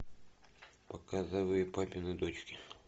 показывай папины дочки